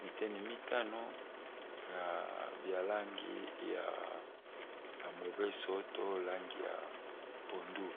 biteni mitano na bya langi ya mobeso to langi ya pondu.